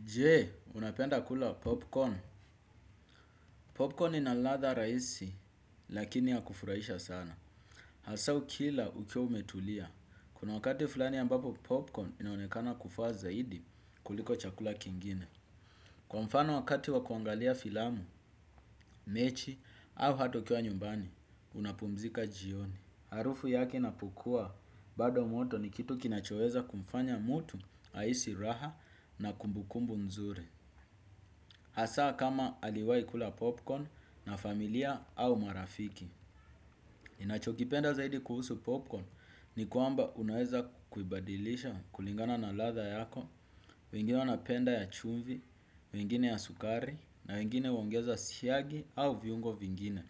Jee, unapenda kula popcorn. Popcorn inaladha rahisi, lakini ya kufurahisha sana. Hasa ukila ukiwa umetulia. Kuna wakati fulani ambapo popcorn inaonekana kufaa zaidi kuliko chakula kingine. Kwa mfano wakati wa kuangalia filamu, mechi, au hata ukiwa nyumbani, unapumzika jioni. Harufu yake inapokua, bado moto ni kitu kinachoweza kumfanya mutu, haisi raha na kumbukumbu nzuri. Asa kama aliwai kula popcorn na familia au marafiki. Nachokipenda zaidi kuhusu popcorn ni kuamba unaweza kuibadilisha kulingana na latha yako, wengine wanapenda ya chumvi, wengine ya sukari, na wengine huwongeza siyagi au viungo vingine.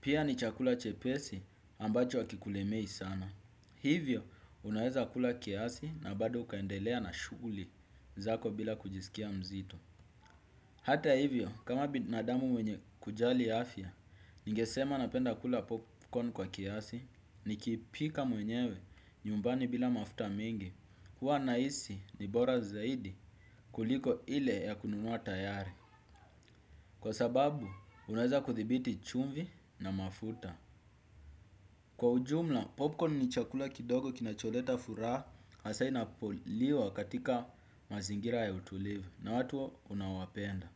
Pia ni chakula chepesi ambacho hakikulemei sana. Hivyo unaweza kula kiasi na bado ukaendelea na shuguli zako bila kujisikia mzito. Hata hivyo, kama binadamu mwenye kujali afya, ningesema napenda kula popcorn kwa kiasi, nikipika mwenyewe nyumbani bila mafuta mingi, huwa nahisi ni bora zaidi kuliko ile ya kununua tayari. Kwa sababu, unaweza kudhibiti chumvi na mafuta. Kwa ujumla, popcorn ni chakula kidogo kinacholeta furaha, hasaa inapoliwa katika mazingira ya utulivu, na watu unaowapenda.